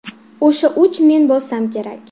O‘sha uch men bo‘lsam kerak.